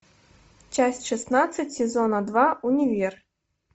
часть шестнадцать сезона два универ